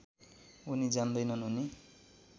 उनी जान्दैनन् उनी